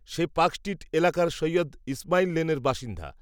সে Park Street এলাকার সৈয়দ ইসমাইল লেনের বাসিন্দা